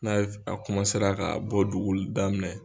N'a ye ka bɔ duguli daminɛ